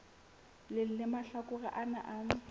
leng la mahlakore ana a